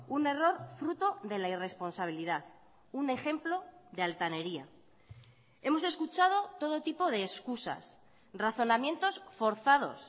un error fruto de la irresponsabilidad un ejemplo de altanería hemos escuchado todo tipo de excusas razonamientos forzados